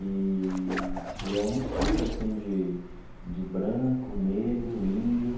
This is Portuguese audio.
Eee e é uma mistura, assim, de de branco, negro, índio.